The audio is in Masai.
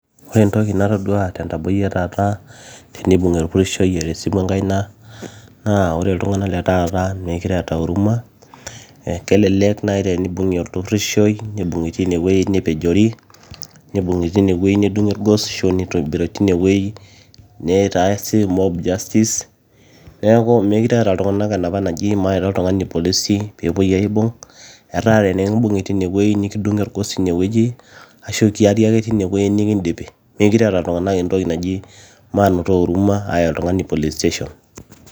Ore entoki natodua tentaboi etaata tenibung'i orpurishoi eeta esimu enkai naa ore iltung'anak letaata meekure eeta huruma naa kelelek naaji tenibung"i orpurishoi nibung'i tine wueji nepejori nibung'i tenewueji nedung'i orgos neibung'i tine wueji nitaasi mob justice neeku meekure eeta iltung'anak enapa naji maita oltung'ani irpolisi peepui aaibung etaaa tenikimbung'i tine wueji nikidung'i orgos tine wueji ashuu kiari ake tine wueji nikindipi meekure eeta iltung'anak entoki naji manoto huruma aaya oltung'ani police station